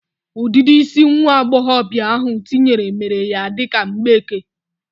Udidi isi nwa agboghobia ahụ tinyere mere ya dika mgbeke.